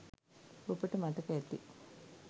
ඔබට මතක ඇති.